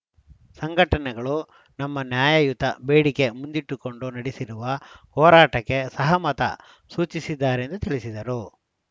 ಸಂಘಟನೆಗಳೂ ನಮ್ಮ ನ್ಯಾಯಯುತ ಬೇಡಿಕೆ ಮುಂದಿಟ್ಟುಕೊಂಡು ನಡೆಸಿರುವ ಹೋರಾಟಕ್ಕೆ ಸಹಮತ ಸೂಚಿಸಿದ್ದಾರೆ ಎಂದು ತಿಳಿಸಿದರು